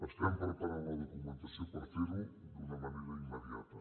estem preparant la documentació per ferho d’una manera immediata